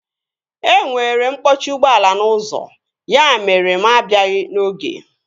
E nwere mkpọchi ụgbọala n'ụzọ ya mere na mụ abịaghị n'oge